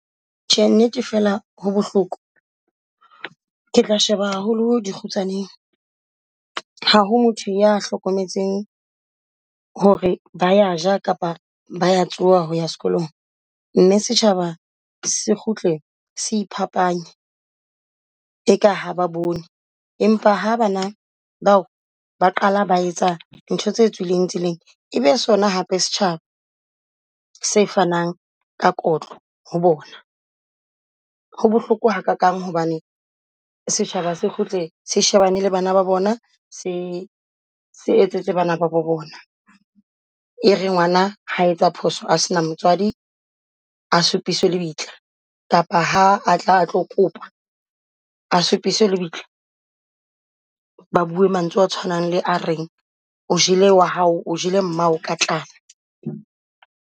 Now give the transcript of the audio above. Tjhe, nnete fela ho bohloko Ke tla sheba haholo di kgutsaneng. Ha ho motho ya hlokometseng hore ba ya ja kapa ba ya tsoa hoya sekolong. Mme setjhaba se kgutle se iphapanya eka ha ba bone empa ha bana bao ba qala ba etsa dintho tse tswileng tseleng ebe sona hape setjhaba se fanang ka kotlo ho bona. Ho bohloko ha kakang hobane setjhaba se kgutle se shebane le bana ba bona se se etsetse bana ba bo bona. E re ngwana ha etsa phoso ha sena motseadi a supiswe lebitla kapa ha atla atlo kopa a supiswe lebitla. Ba bue mantswe a tshwanang le a reng o jele wa hao, o jele mmao ka tlala.